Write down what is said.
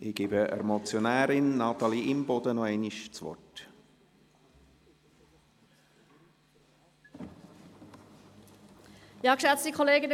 Ich gebe der Motionärin, Natalie Imboden, noch einmal das Wort.